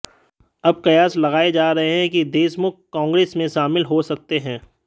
अब कयास लगाए जा रहे हैं कि देशमुख कांग्रेस में शामिल हो सकते हैं